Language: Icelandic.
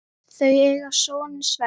Þau eiga soninn Sverri.